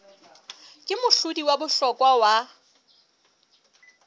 ke mohlodi wa bohlokwa wa